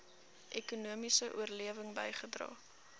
ekonomiese oplewing bygedra